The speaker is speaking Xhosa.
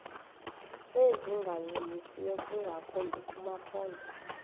ezingancumisiyo ingakumbi kumaphondo